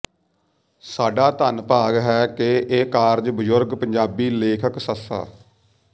ਸਾਡਾ ਧੰਨਭਾਗ ਹੈ ਕਿ ਇਹ ਕਾਰਜ ਬਜ਼ੁਰਗ ਪੰਜਾਬੀ ਲੇਖਕ ਸ